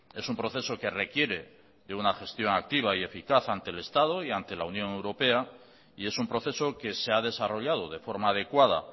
es un proceso que requiere de una gestión activa y eficaz ante el estado y ante la unión europea y es un proceso que se ha desarrollado de forma adecuada